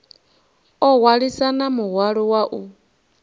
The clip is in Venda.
o hwalisana muhwalo wa u